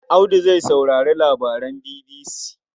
Audu zai saurari labaran BBC.